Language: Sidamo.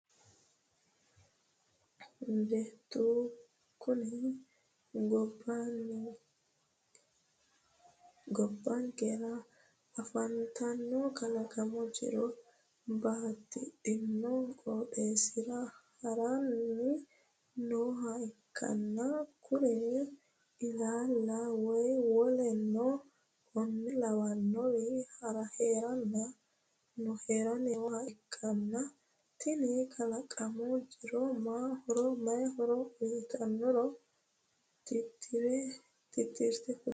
Bettu kuni gobbankera afantanno kalaqamu jiro batidhanno qooxeessira haranni nooha ikkanna kurino ilaalla, way woleno konne lawannoriwa haranni nooha ikkanna tini kalaqamu jiro ma horo uyitannoro titirte kuli?